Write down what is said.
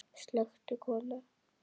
Slökktu kona.